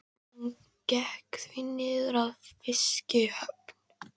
Hann gekk því niður að fiskihöfn.